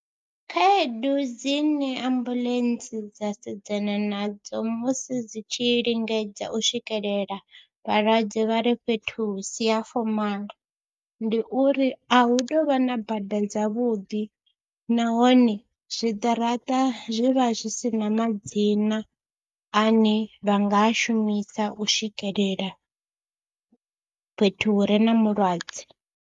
Khaedu dzine ambuḽentse dza sedzana nadzo musi dzi tshi lingedza u swikelela vhalwadze vha re fhethu hu si ha fomala ndi uri a hu tou vha na bada dzavhuḓi nahone zwiṱaraṱa zwi vha zwi si na madzina ane vha nga shumisa u swikelela fhethu hu re na mulwadze.